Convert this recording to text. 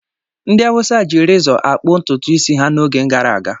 Ndị Hausa ji rezọ akpụ ntutu isi ha n’oge gara aga.